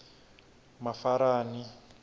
mafarani